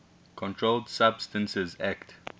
controlled substances acte